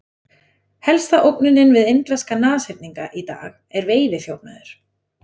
Helsta ógnunin við indverska nashyrninga í dag er veiðiþjófnaður.